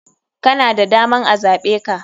Kana da daman a zaɓeka.